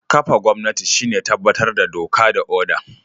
Kafa gwamnati shine tabbatar da doka da oda.